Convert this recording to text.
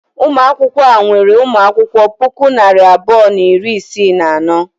Ụlọ akwụkwọ a nwere ụmụ akwụkwọ puku na narị abụọ na iri isii na anọ.